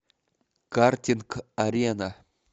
картинг арена